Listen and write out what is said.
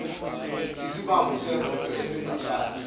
isibambo seroto esingaphansi